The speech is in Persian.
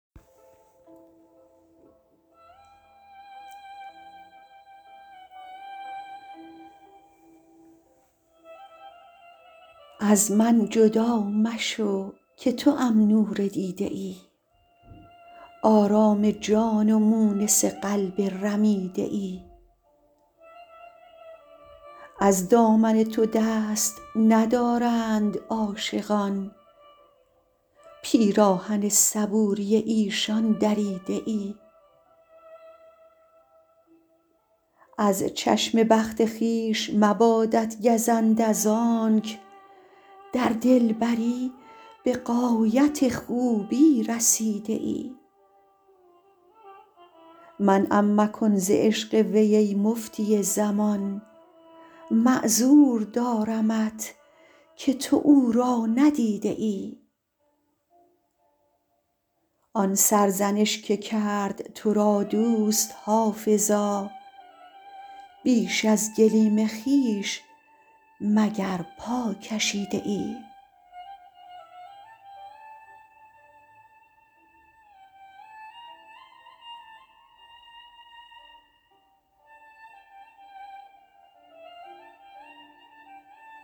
از من جدا مشو که توام نور دیده ای آرام جان و مونس قلب رمیده ای از دامن تو دست ندارند عاشقان پیراهن صبوری ایشان دریده ای از چشم بخت خویش مبادت گزند از آنک در دلبری به غایت خوبی رسیده ای منعم مکن ز عشق وی ای مفتی زمان معذور دارمت که تو او را ندیده ای آن سرزنش که کرد تو را دوست حافظا بیش از گلیم خویش مگر پا کشیده ای